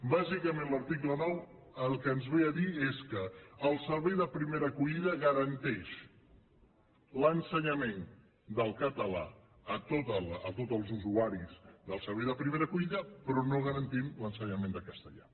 bàsicament l’article nou el que ens ve a dir és que el servei de primera acollida garanteix l’ensenyament del català a tots els usuaris del servei de primera acollida però no garantim l’ensenyament de castellà